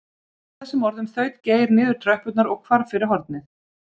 Með þessum orðum þaut Geir niður tröppurnar og hvarf fyrir hornið.